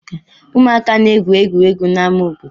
Ụmụaka na-egwu egwuregwu n'amá obodo.